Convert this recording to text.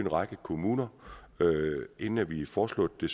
række kommuner inden vi foreslog det